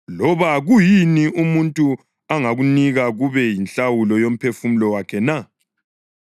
Loba, kuyini umuntu angakunika kube yinhlawulo yomphefumulo wakhe na?